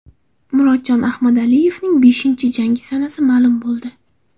Murodjon Ahmadaliyevning beshinchi jangi sanasi ma’lum bo‘ldi.